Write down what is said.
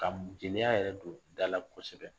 Ka jeliya yɛrɛ don dala kosɛbɛ